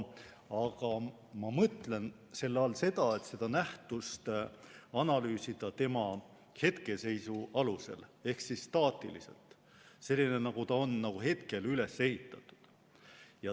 Aga ma mõtlen selle all seda, et seda nähtust võib analüüsida tema hetkeseisu alusel ehk staatilisena, st sellisena, nagu ta on hetkel üles ehitatud.